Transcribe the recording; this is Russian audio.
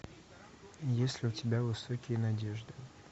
есть ли у тебя высокие надежды